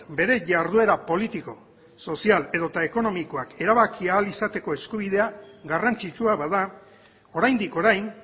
bere jarduera politiko sozial edota ekonomikoak erabaki ahal izateko eskubidea garrantzitsua bada oraindik orain